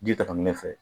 Ji ta fankelen fɛ